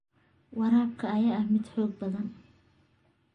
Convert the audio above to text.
Waraabka ayaa ah mid xoog badan.